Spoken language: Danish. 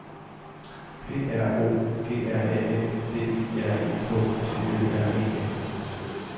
P R O G R A M D I R E K T Ø R E N